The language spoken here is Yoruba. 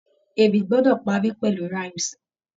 Ewì gbọ́dọ̀ parí pẹ̀lú rhymes.